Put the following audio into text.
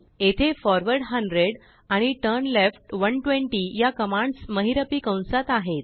येथेforward 100आणिturnleft 120याकमांड्स महिरपी कंसात आहेत